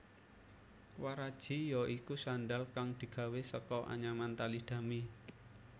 Waraji ya iku sandhal kang digawé saka anyaman tali dami